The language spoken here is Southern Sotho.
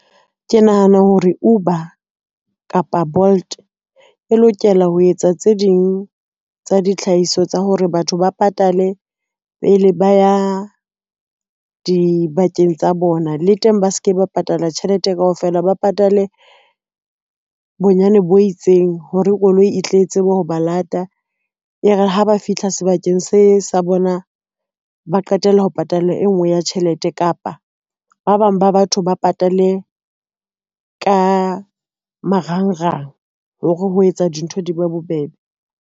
Ke nahana hore Uber kapa Bolt e lokela ho etsa tse ding tsa ditlhahiso tsa hore batho ba patale pele ba ya dibakeng tsa bona le teng ba se ke ba patala tjhelete kaofela, ba patale bonyane bo itseng hore koloi e tle tsebe ho ba lata. E re ha ba fihla sebakeng se sa bona, ba qetela ho patala e ngwe ya tjhelete kapa ba bang ba batho ba patale ka marangrang hore ho etsa dintho di be bobebe.